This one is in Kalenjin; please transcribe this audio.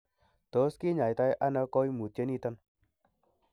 Tos kinyaita ono koimutioniton?